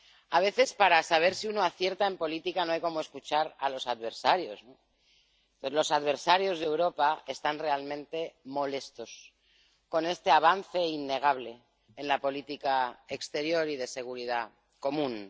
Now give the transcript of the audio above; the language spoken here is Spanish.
A veces, para saber si uno acierta en política no hay como escuchar a los adversarios. Los adversarios de Europa están realmente molestos con este avance innegable en la política exterior y de seguridad común.